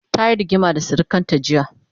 tayi rigima da sirikanta jiya